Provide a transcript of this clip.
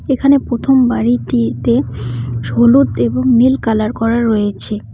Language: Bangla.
এখানে পোথম বাড়িটিতে হলুদ এবং নীল কালার করা রয়েছে।